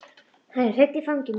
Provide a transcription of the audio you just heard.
Hann er hreinn í fangi mínu.